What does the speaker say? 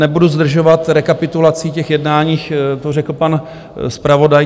Nebudu zdržovat rekapitulací těch jednání, to řekl pan zpravodaj.